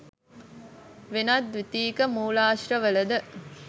වෙනත් ද්විතීයික මූලාශ්‍රවල ද